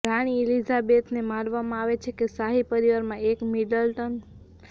રાણી એલિઝાબેથને માનવામાં આવે છે કે શાહી પરિવારમાં એક મિડલટન પર્યાપ્ત કરતાં વધુ છે